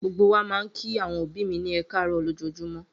Gbogbo wa máa ń kí àwọn òbí mi ní ẹ káàárọ̀ lójoojúmọ́.